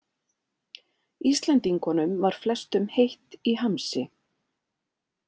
Íslendingunum var flestum heitt í hamsi.